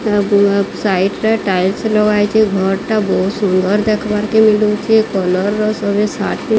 ଏହା ବୁଆ ସାଇଟ୍ ରେ ଟାଇଲସ ଲଗା ହେଇଚେ। ଘରଟା ବୋହୁତ୍ ସୁନ୍ଦର୍ ଦେଖିବାର୍ କେ ମିଳୁଚେ। କଲର୍ ର ସବେ ସା --